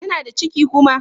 Tana da ciki kuma?